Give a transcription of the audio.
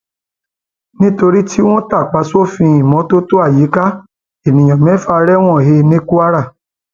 nítorí tí wọn tàpá sófin ìmọtótó àyíká èèyàn mẹfà rẹwọn he ní kwara